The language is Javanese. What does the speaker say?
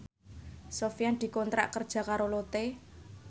Sofyan dikontrak kerja karo Lotte